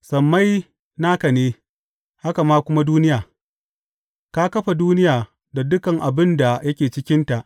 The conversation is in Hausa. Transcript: Sammai naka ne, haka kuma duniya; ka kafa duniya da dukan abin da yake cikinta.